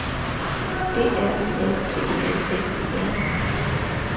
D R Ø F T E L S E R